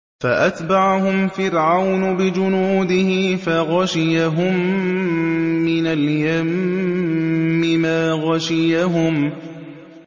فَأَتْبَعَهُمْ فِرْعَوْنُ بِجُنُودِهِ فَغَشِيَهُم مِّنَ الْيَمِّ مَا غَشِيَهُمْ